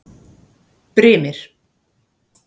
Brimir